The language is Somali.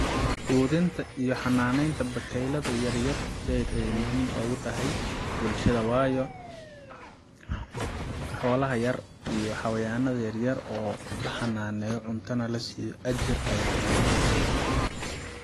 Quudinta iyo xanaaneynta bakaylada yaryar zaid ayay muhiim ogu tahay bulshada wayo xoolaha yar iyo xawayaanaea yaryar oo la xanaaneyo cunto nah lasiiyo ajar laga helayaa